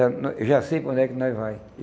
Eu já sei para onde é que nós vamos.